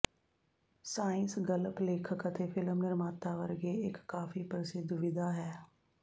science ਗਲਪ ਲੇਖਕ ਅਤੇ ਫਿਲਮ ਨਿਰਮਾਤਾ ਵਰਗੇ ਇੱਕ ਕਾਫ਼ੀ ਪ੍ਰਸਿੱਧ ਵਿਧਾ ਹੈ